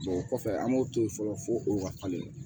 o kɔfɛ an b'o to yen fɔlɔ fo o ka falen